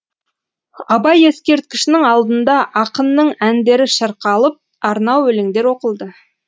абай ескерткішінің алдында ақынның әндері шырқалып арнау өлеңдер оқылды